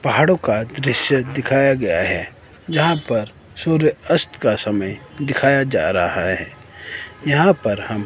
पहाड़ों का दृश्य दिखाया गया हैं जहाँ पर सूर्य अस्त का समय दिखाया जा रहा हैं यहाँ पर हम--